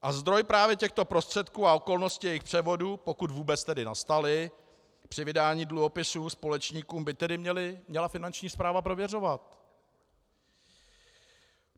A zdroj právě těchto prostředků a okolnosti jejich převodu, pokud vůbec tedy nastaly při vydání dluhopisů společníkům, by tedy měla Finanční správa prověřovat.